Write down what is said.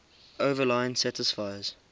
overline satisfies